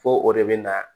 Fo o de bɛ na